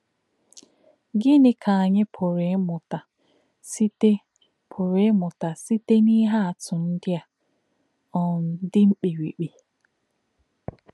Gịnị̄ kā̄ ànyí̄ pụ̀rụ́ ímụ̀tà̄ sītè̄ pụ̀rụ́ ímụ̀tà̄ sītè̄ n’íhè̄ àtụ̀ ndí̄ ā̄ um dì̄ mkpírí̄kpí̄?